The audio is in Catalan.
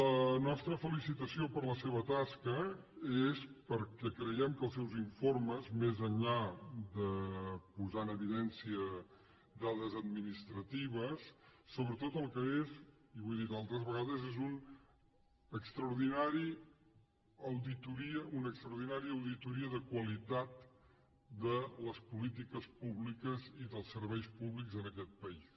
la nostra felicitació per la seva tasca és perquè creiem que els seus informes més enllà de posar en evidència dades administratives sobretot el que és i ho he dit altres vegades és una extraordinària auditoria de qualitat de les polítiques públiques i dels serveis públics en aquest país